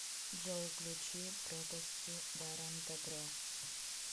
джой включи пропасти даром дабро